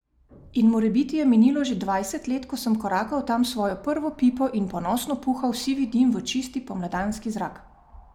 In morebiti je minilo že dvajset let, ko sem korakal tam s svojo prvo pipo in ponosno puhal sivi dim v čisti pomladanski zrak.